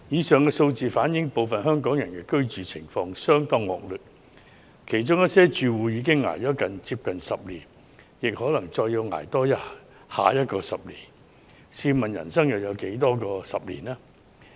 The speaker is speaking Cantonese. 上述數字反映，部分香港人的居住環境相當惡劣，其中一些住戶已捱了近10年，更可能要多捱10年，試問人生還有多少個10年？